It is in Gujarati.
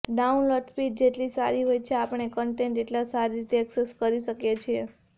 ડાઉનલોડ સ્પીડ જેટલી સારી હોય છે આપણે કન્ટેન્ટ એટલા સારી રીતે એક્સેસ કરી શકીએ છીએ